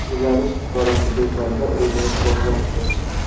Belarus fuqarosi do‘konda o‘zini portlatdi.